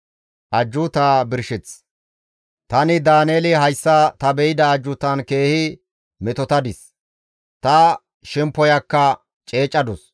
«Tani Daaneeli hayssa ta be7ida ajjuutan keeha metotadis; ta shemppoyakka ceecadus.